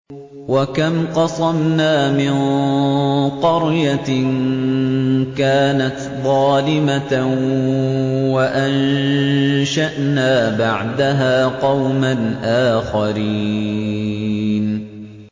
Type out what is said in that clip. وَكَمْ قَصَمْنَا مِن قَرْيَةٍ كَانَتْ ظَالِمَةً وَأَنشَأْنَا بَعْدَهَا قَوْمًا آخَرِينَ